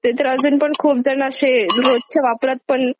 ते तर अजून पण अशे रोजच्या वापरात पण;